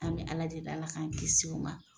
An bɛ Ala deli Ala k'an kisi o ma.